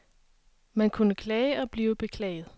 Man kunne klage og blive beklaget.